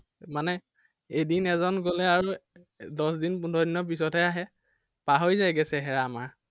মানে এদিন এজন গলে আৰু, দশ দিন পোন্ধৰ দিনৰ পিছতহে আহে। পাহৰি যায়গে চেহেৰা আমাৰ।